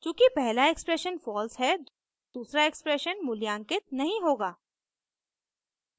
चूँकि पहला expression false है दूसरा एक्सप्रेशन मूल्यांकित नहीं होगा